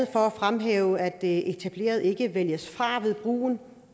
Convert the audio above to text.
for at fremhæve at det etablerede ikke vælges fra ved brug